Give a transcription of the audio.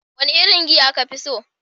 Wane irin giya ka fi so?